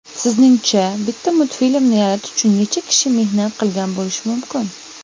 Sizningcha bitta multfilmni yaratish uchun necha kishi mehnat qilgan bo‘lishi mumkin.